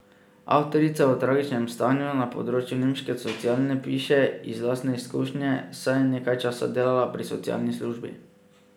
Avtorica o tragičnem stanju na področju nemške sociale piše iz lastne izkušnje, saj je nekaj časa delala pri socialni službi.